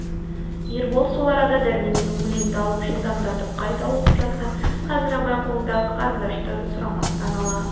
ербол сол арада дәрменнен өленді алып жылдамдатып қайта оқып жатқан қазір абай қолыңдағы қарындашты сұрамастан ала